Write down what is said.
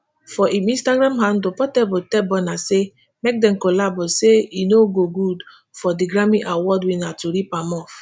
for im instagram handle portable tell burna say make dem collabo say e no go good for di grammy award winner to rip am off.